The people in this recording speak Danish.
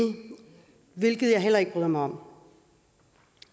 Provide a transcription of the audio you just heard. hvilket jeg heller ikke bryder mig om